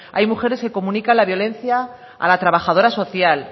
hay mujeres que comunican la violencia a la trabajadora social